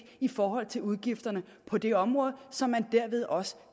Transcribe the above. i forhold til udgifterne på det område så man derved også